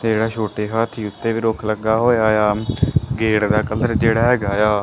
ਤੇ ਜੇਹੜਾ ਛੋਟੇ ਹਾਥੀ ਉੱਤੇ ਵੀ ਰੁੱਖ ਲੱਗਾ ਹੋਏਆ ਯਾ ਗੇਟ ਦਾ ਕਲਰ ਜੇਹੜਾ ਹੈਗਾ ਯਾ--